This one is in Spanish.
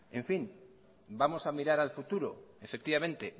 vamos a mirar al futuro efectivamente